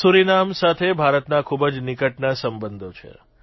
Suriname સાથે ભારતના ખૂબ જ નિકટના સંબંધો છે